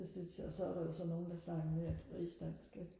det synes jeg og så er der jo så nogle der snakker mere rigsdansk ikke